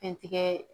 Fɛn tigɛ